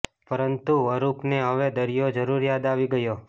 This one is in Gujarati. પરંતુ અરૂપને હવે દરિયો જરૂર યાદ આવી ગયો